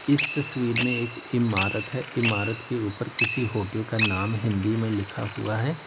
इस तस्वीर में एक इमारत है इमारत के ऊपर किसी होटल का नाम हिंदी में लिखा हुआ है।